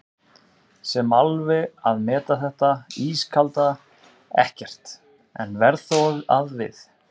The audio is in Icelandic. sem alveg að meta þetta ískalda EKKERT, en verð þó að við